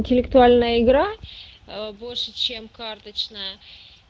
интеллектуальная игра ээ больше чем карточная